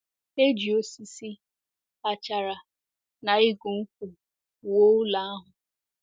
E ji osisi, achara, na igu nkwụ wuo ụlọ ahụ.